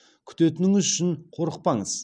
күтетініңіз үшін қорықпаңыз